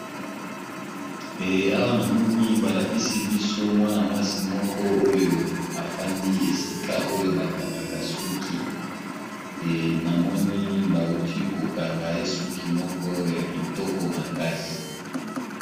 Awa namoni balakisi biso mwana-mwasi moko oyo afandi esika oyo bakangaka suki namoni ,bauti kokanga esuki moko ya kitoko makasi.